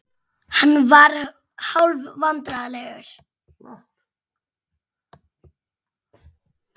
Hann varð hálfvandræðalegur.